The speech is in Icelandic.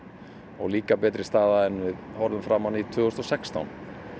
og líka betri staða en við horfðum fram á tvö þúsund og sextán